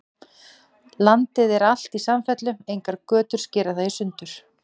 Landið er alt í samfellu, engar götur skera það í sundur.